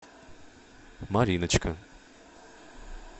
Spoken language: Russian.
мариночка